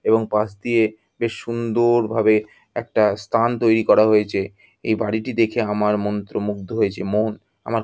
এবং পাস দিয়ে বেশ সুন্দ-ওর ভাবে একটা স্থান তৈরি করা হয়েছে। এই বাড়িটি দেখে আমার মন্ত্রমুগ্ধ হয়েছে মন। আমার।